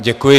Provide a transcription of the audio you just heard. Děkuji.